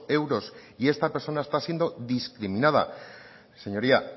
euros y esta persona está siendo discriminada señoría